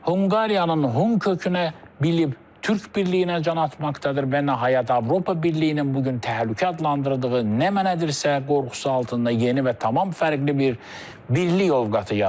Hunqariyanın Hun kökünə bilib türk birliyinə can atmaqdadır və nəhayət Avropa Birliyinin bu gün təhlükə adlandırdığı nə mənədirsə, qorxusu altında yeni və tamam fərqli bir birlik ovqatı yaranır.